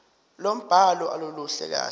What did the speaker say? lombhalo aluluhle kahle